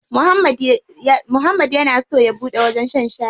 Muhammad yana so ya buɗe wajen shan shayi.